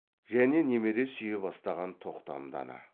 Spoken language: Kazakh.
және немере сүйе бастаған тоқтамды ана